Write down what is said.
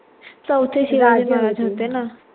चौथे शिवाजी महाराज होते ना